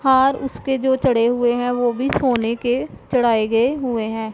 हार उसके जो चढ़े हुए हैं वो भी सोने के चढ़ाए गए हुए हैं।